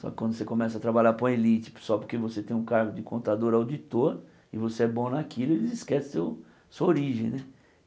Só que quando você começa a trabalhar para uma elite só porque você tem um cargo de contador ou auditor e você é bom naquilo, eles esquecem seu a sua origem né.